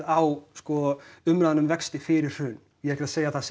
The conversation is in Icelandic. á umræðuna um vexti fyrir hrun ég er ekki að segja að